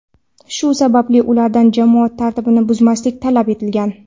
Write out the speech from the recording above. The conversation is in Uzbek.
shu sababli ulardan jamoat tartibini buzmaslik talab etilgan.